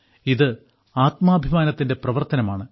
ഇത് ആത്മാഭിമാനത്തിന്റെ പ്രവർത്തനമാണ്